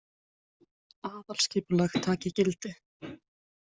Aðalskipulag taki gildi